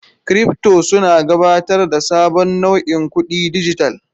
Kiripto suna gabatar da sabon nau'in kudin dijital.